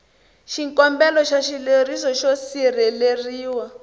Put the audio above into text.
xikombelo xa xileriso xo sirheleriwa